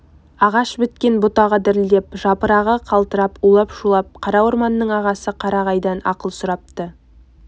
ағаш біткен бұтағы дірілдеп жапырағы қалтырап улап-шулап қара орманның ағасы қарағайдан ақыл сұрапты